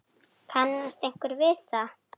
Kannast einhver við það?